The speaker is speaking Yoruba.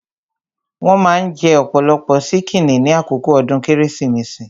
Wón maa ń jẹ ọ̀pọ̀lọpọ̀ ṣíkìnnì ní àkókò ọdún Kérésìmesì